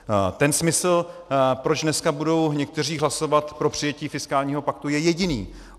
Ten smysl, proč dneska budou někteří hlasovat pro přijetí fiskálního paktu, je jediný.